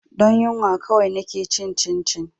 Don yunwa kawai na ke cin cincin